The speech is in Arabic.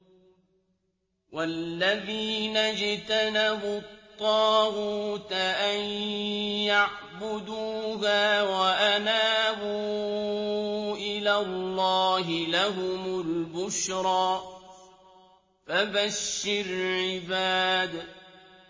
وَالَّذِينَ اجْتَنَبُوا الطَّاغُوتَ أَن يَعْبُدُوهَا وَأَنَابُوا إِلَى اللَّهِ لَهُمُ الْبُشْرَىٰ ۚ فَبَشِّرْ عِبَادِ